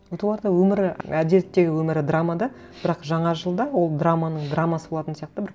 вот оларда өмірі әдетте өмірі драма да бірақ жаңа жылда ол драманың драмасы болатын сияқты бір